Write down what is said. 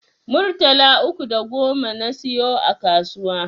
Murtala uku da goma na siyo a kasuwa